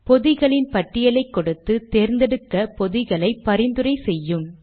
பொதிகளின் பட்டியலை கொடுத்து தேர்ந்தெடுக்க பொதிகளை பரிந்துரையும் செய்யும்